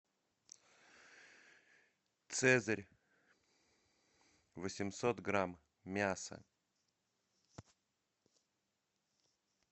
цезарь восемьсот грамм мясо